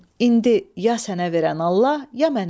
İndi ya sənə verən Allah, ya mənə.